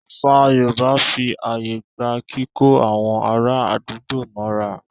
Àṣà Yorùbá fí ààyè gba kíkó àwọn ará àdúgbò mọ́ra.